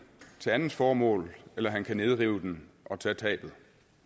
til andet formål eller han kan nedrive den og tage tabet